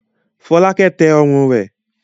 Fọ́lákẹ́ tẹ ọrùn rẹ̀.